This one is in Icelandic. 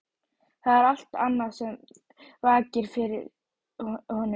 Það er allt annað sem vakir fyrir honum.